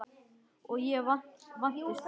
Og ég vandist því.